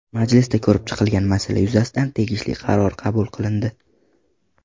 Majlisda ko‘rib chiqilgan masala yuzasidan tegishli qaror qabul qilindi.